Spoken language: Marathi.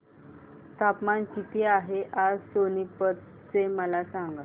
तापमान किती आहे आज सोनीपत चे मला सांगा